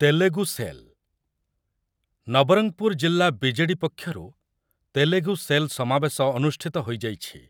Telugu cell , Nabarangpur ଜିଲ୍ଲା BJD ପକ୍ଷରୁ Telugu cell ସମାବେଶ ଅନୁଷ୍ଠିତ ହୋଇଯାଇଛି ।